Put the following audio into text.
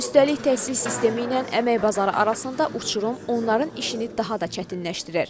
Üstəlik təhsil sistemi ilə əmək bazarı arasında uçurum onların işini daha da çətinləşdirir.